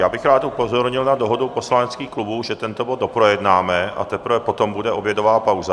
Já bych rád upozornil na dohodu poslaneckých klubů, že tento bod doprojednáme, a teprve potom bude obědová pauza.